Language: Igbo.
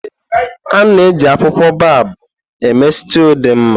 A na-eji akwụkwọ baobobu eme stúu dị mma.